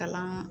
Kalan